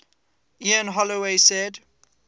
ian holloway said